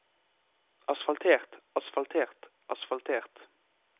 asfaltert asfaltert asfaltert